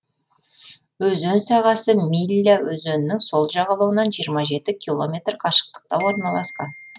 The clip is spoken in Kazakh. өзен сағасы милля өзенінің сол жағалауынан жиырма жеті километр қашықтықта орналасқан